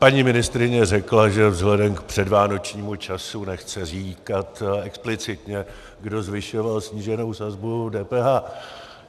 Paní ministryně řekla, že vzhledem k předvánočnímu času nechce říkat explicitně, kdo zvyšoval sníženou sazbu DPH.